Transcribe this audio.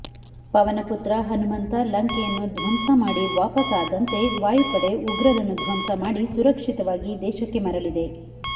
ಪವನ ಪುತ್ರ ಹನುಮಂತ ಲಂಕೆಯನ್ನು ಧ್ವಂಸ ಮಾಡಿ ವಾಪಸ್ ಆದಂತೆ ವಾಯುಪಡೆ ಉಗ್ರರನ್ನು ಧ್ವಂಸ ಮಾಡಿ ಸುರಕ್ಷಿತವಾಗಿ ದೇಶಕ್ಕೆ ಮರಳಿದೆ